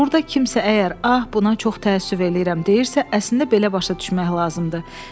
Burda kimsə əgər ah buna çox təəssüf eləyirəm deyirsə, əslində belə başa düşmək lazımdır.